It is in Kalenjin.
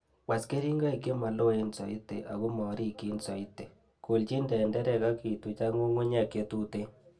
Was keringoik chemoloen soiti ako morikyin soiti, Kolchin tenderek ak ituch ak ng'ung'unyek chetuten.